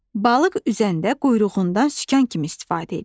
Balıq üzəndə quyruğundan sükan kimi istifadə edir.